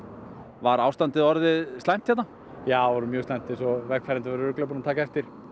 var ástandið orðið slæmt hérna já orðið mjög slæmt eins og vegfarendur voru örugglega búnir að taka eftir